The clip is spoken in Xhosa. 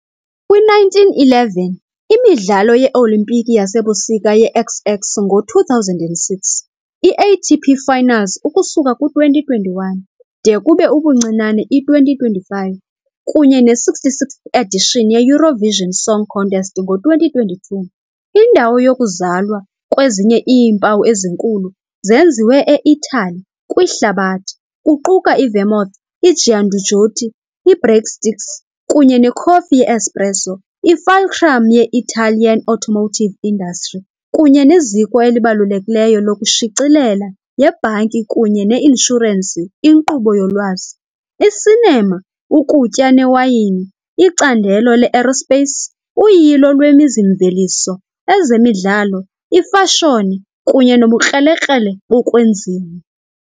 kwi-1911, iMidlalo ye-Olimpiki yaseBusika ye-XX ngo-2006, i- ATP Finals ukusuka kwi-2021, de kube ubuncinane i-2025, kunye ne- 66th edition ye- Eurovision Song Contest ngo-2022, indawo yokuzalwa kwezinye iimpawu ezinkulu "Zenziwe eItali" kwihlabathi, kuquka i-vermouth, i-giandujotti, i-breadsticks kunye nekhofi ye-espresso, i-fulcrum ye-Italian automotive industry, kunye neziko elibalulekileyo lokushicilela, yebhanki kunye ne-inshurensi inkqubo yolwazi, i-cinema, ukutya newayini, icandelo le -aerospace, uyilo lwemizi-mveliso, ezemidlalo, ifashoni kunye nobukrelekrele bokwenziwa .